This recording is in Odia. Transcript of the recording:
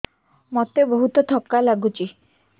ମୋତେ ବହୁତ୍ ଥକା ଲାଗୁଛି